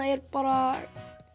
er bara